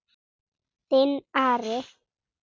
Þinn Ari.